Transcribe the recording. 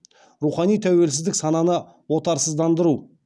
рухани тәуелсіздік сананы отарсыздандыру